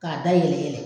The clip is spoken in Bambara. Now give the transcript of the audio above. K'a da yɛlɛ